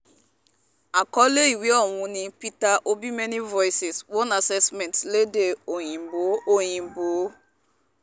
àkọlé ìwé ọ̀hún ni peter obimany voices one assessment lédè òyìnbó òyìnbó